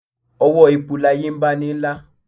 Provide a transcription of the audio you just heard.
òwọ èpo láye ń baní lá